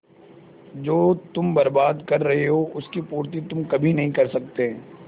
जो तुम बर्बाद कर रहे हो उसकी पूर्ति तुम कभी नहीं कर सकते